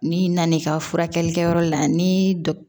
N'i nana n'i ka furakɛlikɛyɔrɔ la ni dɔ